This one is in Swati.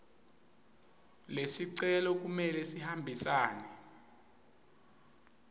lesicelo kumele sihambisane